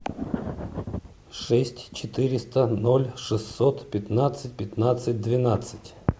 шесть четыреста ноль шестьсот пятнадцать пятнадцать двенадцать